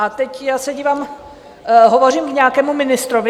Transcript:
A teď já se dívám, hovořím k nějakému ministrovi?